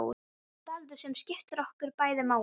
Dáldið sem skiptir okkur bæði máli.